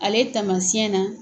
Ale taamasiyɛn na